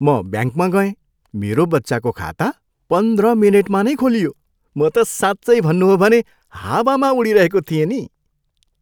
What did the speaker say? म ब्याङ्कमा गएँ, मेरो बच्चाको खाता पन्ध्र मिनेटमा नै खोलियो, म त साँच्चै भन्नु हो भने हावामा उडिरहेको थिएँ नि।